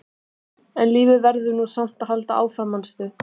En lífið verður nú samt að halda áfram, manstu!